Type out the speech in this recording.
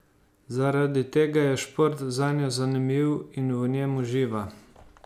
Zaradi tega je šport zanjo zanimiv in v njem uživa.